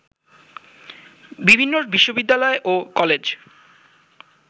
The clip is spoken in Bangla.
বিভিন্ন বিশ্ববিদ্যালয় ও কলেজ